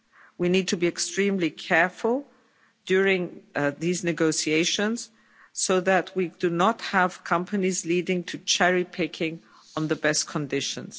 We need to be extremely careful during these negotiations, so that we do not have companies leading to cherry-picking on the best conditions.